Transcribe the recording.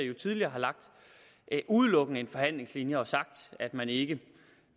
jo tidligere udelukkende lagt en forhandlingslinje og sagt at man ikke